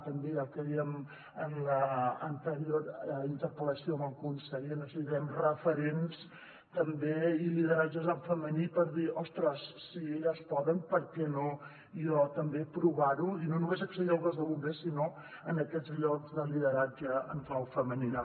també el que dèiem en l’anterior interpel·lació amb el conseller necessitem re·ferents i lideratges en femení per dir ostres si elles poden per què no jo també provar·ho i no només accedir al cos de bombers sinó a aquests llocs de lideratge en clau femenina